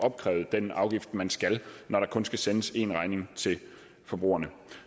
opkræve den afgift som man skal når der kun skal sendes én regning til forbrugerne